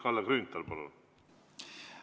Kalle Grünthal, palun!